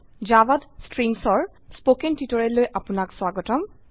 জাভাত স্ট্ৰিংসৰ কথন টিউটোৰিয়লৈ আপনাক স্বাগতম